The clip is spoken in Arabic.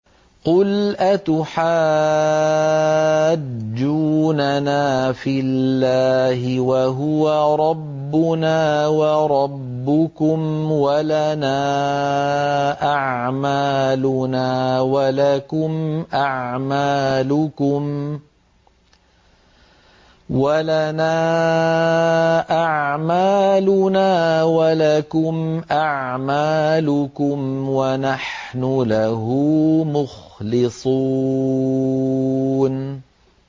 قُلْ أَتُحَاجُّونَنَا فِي اللَّهِ وَهُوَ رَبُّنَا وَرَبُّكُمْ وَلَنَا أَعْمَالُنَا وَلَكُمْ أَعْمَالُكُمْ وَنَحْنُ لَهُ مُخْلِصُونَ